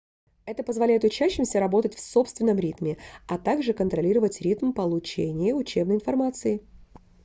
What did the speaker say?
это позволяет учащимся работать в собственном ритме а также контролировать ритм получения учебной информации